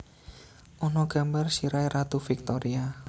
Ana gambar sirahe Ratu Victoria